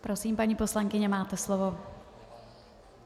Prosím, paní poslankyně, máte slovo.